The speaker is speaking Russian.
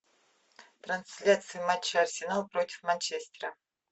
трансляция матча арсенал против манчестера